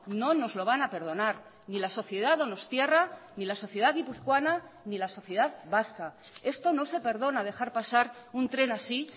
no nos lo van a perdonar ni la sociedad donostiarra ni la sociedad guipuzcoana ni la sociedad vasca esto no se perdona dejar pasar un tren así